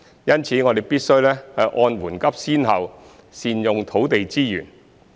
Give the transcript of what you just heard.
因此，我們必須按緩急先後善用土地資源。